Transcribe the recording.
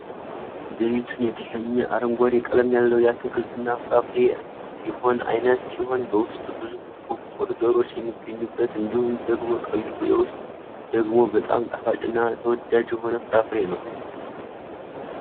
ዘይቱን የተሰኘ አረንጓዴ ቀለም ያለው የአትክልትና ፍራፍሬነት ይሆን አይነት ሲሆን በውስጡ ብዙ ጥቋቁር ዘሮች የሚገኙበት እንዲሁም ደግሞ ቀዩ የውስጥ ደግሞ በጣም ጣፋጭና ተወዳጅ የሆነ ፍራፍሬ ነው ።